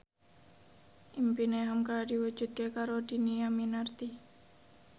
impine hamka diwujudke karo Dhini Aminarti